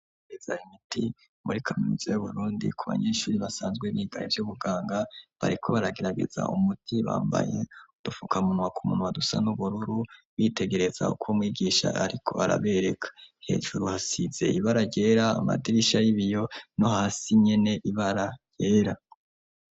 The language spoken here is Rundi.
Imeza y'igiti muri kaminuza y' burundi ku banyeshuri basanzwe bigane by'ubuganga bareko baragerageza umudi bambaye udufukamuntwa ku muntu badusa n'ubururu bitegereza uko mwigisha ariko arabereka hejuru hasize ibara ryera amadirisha y'ibiyo no hasi nyene ibara yera.